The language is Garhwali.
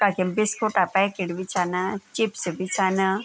कखिम बिस्कुट क् पैकेट भी छन चिप्स भी छन --